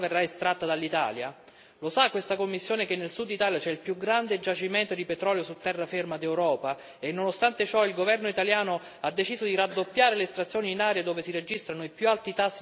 Lo sa questa Commissione che nel Sud Italia c'è il più grande giacimento di petrolio su terraferma d'Europa e nonostante ciò il governo italiano ha deciso di raddoppiare le estrazioni in aree dove si registrano i più alti tassi di patologie tumorali d'Europa?